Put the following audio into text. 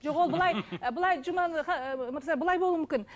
жоқ ол былай ы былай жұма мырза былай болу мүмкін